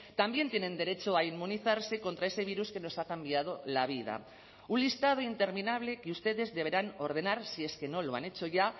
también tienen derecho a inmunizarse contra ese virus que nos ha cambiado la vida un listado interminable que ustedes deberán ordenar si es que no lo han hecho ya